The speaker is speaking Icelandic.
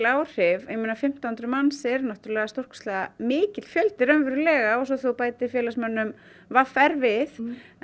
áhrif ég meina fimmtán hundruð manns er stórkostlega mikill fjöldi raunverulega og svo þegar þú bætir félagsmönnum v r við